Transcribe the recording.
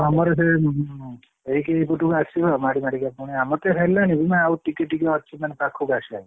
ଆମର ସେଇ ଏଇ ପଟକୁ ଆସିବ ମାଡି ମାଡିକା ପୁଣି ଆମର ତ ହେଲାଣି ଆଉ ଟିକେ ଟିକେ ଅଛି ମାନେ ପାଖକୁ ଆସିବାକୁ।